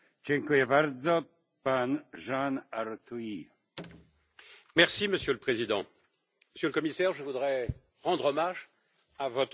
Monsieur le Président, Monsieur le Commissaire, je voudrais rendre hommage à votre proposition car votre tâche relevait véritablement de la quadrature du cercle.